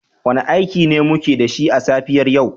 Wane aiki ne muke da shi a safiyar yau?